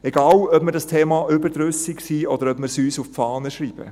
Egal ob wir des Themas überdrüssig sind oder ob wir es uns auf die Fahne schreiben: